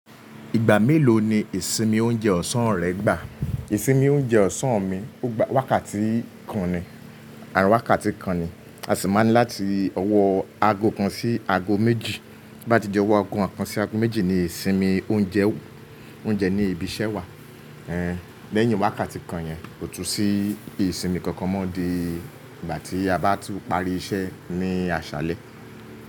Ìgbà mélòó ni ìsinmi oúnjẹ ọ̀sán rẹ gbà? Ìsinmi oúnjẹ ọ̀sán mi, wákàtí kan ni, àrin wákàtí kan ni. A sì máa ń láti ọwọ́ aago kan sí aago méjì. Bí bá ti jẹ́ ọwọ́ aago kan sí aago méjì ni ìsinmi oúnjẹ, oúnjẹ ní ibi iṣẹ́ wà. Eh, lẹ́yìn wákàtí kan yẹn kò tún sí ìsinmi kankan mọ́ di ìgbà tí a bá tún parí iṣẹ́ ní aṣálẹ́.